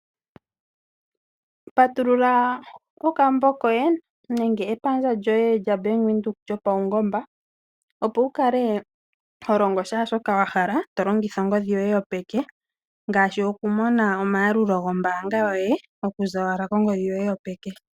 Patulula okambo koye nenge epandja lyoye lya Bank Windhoek lyopawungomba opo wukale ho landa kohe shoka wahala, t longitha ongodhi yoye yopeke ngaashi okumona oma yalulo gombaanga yoye okuza kongodhi yoye yopeke.